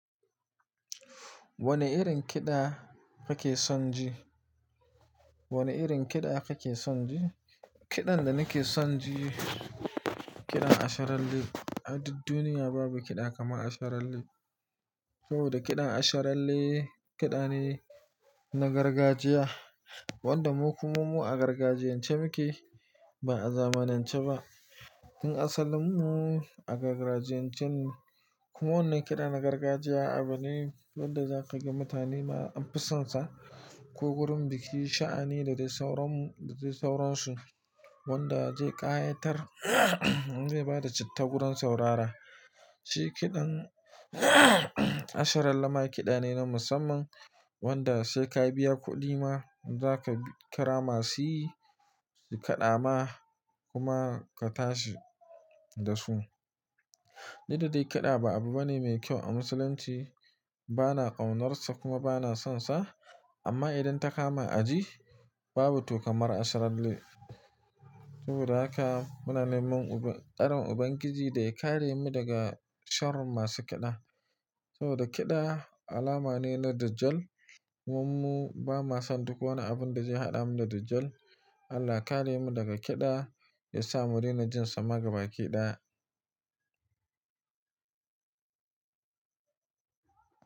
Wane irin kiɗa kake son ji? Wane irin kiɗa kake son ji? Kiɗan da nake son ji, kiɗan asharalle. A duk duniya babu kiɗa kamar asharalle. Saboda kiɗan asharalle kiɗa ne na gargajiya wanda mu kummu a gargajiyan ce muke ba a zamanance ba. Tun asalin mu a gargajiyan cen kuma wannan kiɗa na gargajiya abu ne wanda za ka giga mutane ma an fisansa. Ko gurin biki sha'ani da dai sauransu, wanda zai ƙayatar zai bada citta gurin saurara. Tun asalin mu a gargajiyan cen kuma wannan kiɗa na gargajiya abu ne wanda za ka giga mutane ma an fisansa. Duk da dai kiɗa ba abu bane mai kyau a Musulunci, bana ƙaunarsa kuma bana sonsa. Amma idan ta kama a ji babu to kamar asharalle. Saboda haka muna neman ƙarin ubangiji da ya kare mu daga sharin masu kiɗa. Saboda kida, alama ne na dijjar kuma mu ba mua son duk wani abun da zai haɗa mu da Dajjal. Allah ya kare mu daga kiɗa ya sa mu ringa jin sa magaba kiɗa.